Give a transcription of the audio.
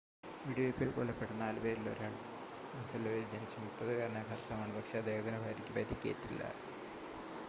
വെടിവെയ്പ്പിൽ കൊല്ലപ്പെട്ട നാലുപേരിൽ ഒരാൾ ബഫലോയിൽ ജനിച്ച 30-കാരനായ ഭർത്താവാണ് പക്ഷേ അദ്ദേഹത്തിൻ്റെ ഭാര്യയ്ക്ക് പരിക്കേറ്റില്ല